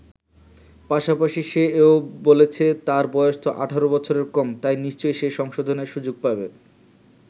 পাশাপাশি সে এও বলেছে, তার বয়স তো ১৮ বছরের কম, তাই নিশ্চয়ই সে সংশোধনের সুযোগ পাবে।